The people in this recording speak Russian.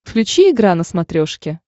включи игра на смотрешке